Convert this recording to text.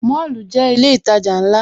Mọ́lù jẹ́ ilé ìtajà ńlá